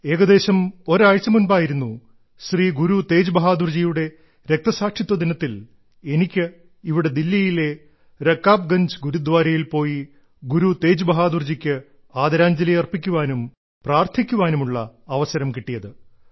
ഏകദേശം ഒരാഴ്ച മുൻപായിരുന്നു ശ്രീ ഗുരു തേജ് ബഹാദുർജിയുടെ രക്തസാക്ഷിത്വ ദിനത്തിൽ എനിക്ക് ഇവിടെ ദില്ലിയിലെ രകാബ്ഗൻജ് ഗുരുദ്വാരയിൽ പോയി ഗുരു തേജ് ബഹാദുർജിക്ക് ആദരാഞ്ജലി അർപ്പിക്കുവാനും പ്രാർത്ഥിക്കുവാനുമുള്ള അവസരം കിട്ടിയത്